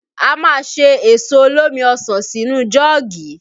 A máa ṣe èso olómi ọsàn sínú jọ́ọ̀gì